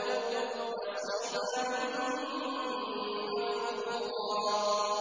أَوْ كَثُرَ ۚ نَصِيبًا مَّفْرُوضًا